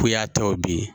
Ko ya tɔ bi